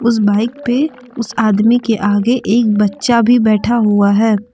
उस बाइक पे उसे आदमी के आगे एक बच्चा भी बैठा हुआ है ।